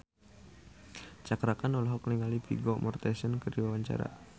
Cakra Khan olohok ningali Vigo Mortensen keur diwawancara